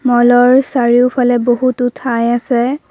মলৰ চাৰিওফালে বহুতো ঠাই আছে।